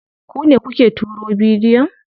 Ku ne kuke turo bidiyon?